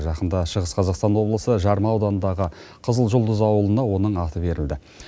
жақында шығыс қазақстан облысы жарма ауданындағы қызылжұлдыз ауылына оның аты берілді